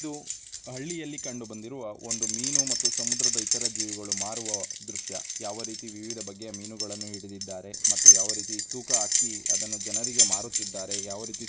ಇದು ಹಳ್ಳಿಯಲ್ಲಿ ಕಂಡುಬಂದಿರುವ ಒಂದು ಮೀನು ಮತ್ತು ಸಮುದ್ರದ ಇತರ ಜೀವಿಗಳು ಮಾರುವ ದೃಶ್ಯ. ಯಾವ ರೀತಿಯ ವಿವಿಧ ಬಗೆಯ ಮೀನುಗಳನ್ನು ಹಿಡಿದಿದ್ದಾರೆ ಮತ್ತು ಯಾವ ರೀತಿ ತೂಕಆಕಿ ಅದನ್ನು ಜನರಿಗೆ ಮಾರುತ್ತಿದ್ದಾರೆ --